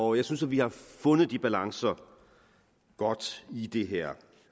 og jeg synes at vi har fundet de balancer godt i det her